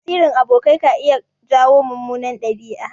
Tasirin abokai ka iya jawo mummunan ɗabi'a.